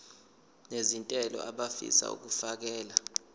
nezentela abafisa uukfakela